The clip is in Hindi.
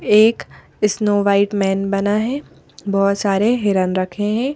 एक स्नो वाइट मैन बना है बहुत सारे हिरन रखे हैं।